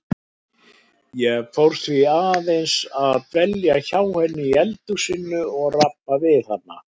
Ég fór því svona aðeins að dvelja hjá henni í eldhúsinu og rabba við hana.